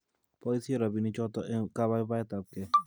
Boisie robinichoto eng kabaibaitetabkei